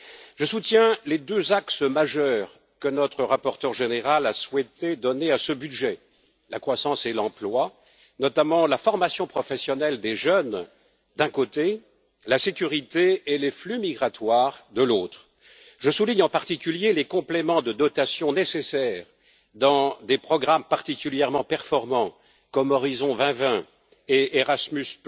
Je soutiens les deux axes majeurs que notre rapporteur général a souhaité donner à ce budget, la croissance et l'emploi, notamment la formation professionnelle des jeunes, d'un côté, et la sécurité et les flux migratoires, de l'autre. Je souligne principalement les compléments de dotations nécessaires dans des programmes particulièrement performants, comme Horizon 2020 et Erasmus,